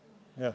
Jah.